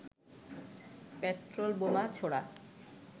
petrol বোমা ছোড়া